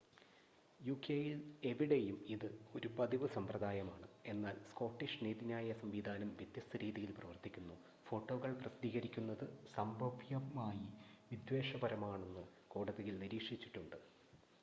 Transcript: യുകെയിൽ എവിടെയും ഇത് ഒരു പതിവ് സമ്പ്രദായമാണ് എന്നാൽ സ്കോട്ടിഷ് നീതിന്യായ സംവിധാനം വ്യത്യസ്ത രീതിയിൽ പ്രവർത്തിക്കുന്നു ഫോട്ടോകൾ പ്രസിദ്ധീകരിക്കുന്നത് സംഭവ്യമായി വിദ്വേഷപരമാണെന്ന് കോടതികൾ നിരീക്ഷിച്ചിട്ടുണ്ട്